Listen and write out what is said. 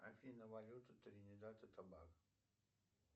афина валюта тринидад и тобаго